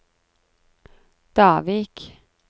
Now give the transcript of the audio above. Davik